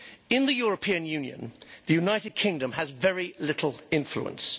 In the European Union, the United Kingdom has very little influence.